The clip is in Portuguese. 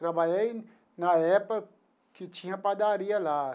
Trabalhei na época que tinha padaria lá.